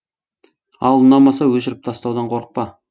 ал ұнамаса өшіріп тастаудан қорықпа